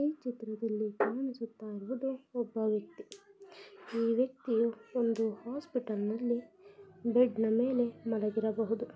ಈ ಚಿತ್ರದಲ್ಲಿ ಕಾಣಿಸುತ್ತಾ ಇರುವುದು ಒಬ್ಬ ವ್ಯಕ್ತಿ ಈ ವ್ಯಕ್ತಿಯು ಒಂದು ಹಾಸ್ಪಿಟಲ್ನಲ್ಲಿ ಬೆಡ್ನ ಮೇಲೆ ಮಲಗಿರಬಹುದು.